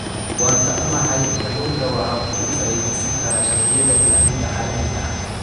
Waan ka xunahay, kalluunka waxa uu ka faa'iidaysan karaa sharciyada ilaalinta caalamiga ah.